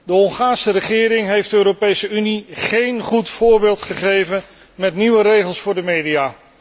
De Hongaarse regering heeft de Europese Unie geen goed voorbeeld gegeven met de nieuwe regelgeving voor de media.